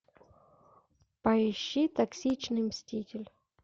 поищи токсичный мститель